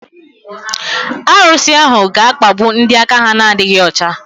Arusi ahu ga-akpagbu ndị aka ha na-adịghị ọcha.